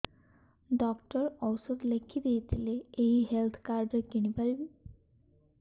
doctor ଔଷଧ ଲେଖିଦେଇଥିଲେ ଏଇ ହେଲ୍ଥ କାର୍ଡ ରେ କିଣିପାରିବି